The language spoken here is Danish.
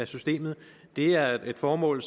systemet er et formål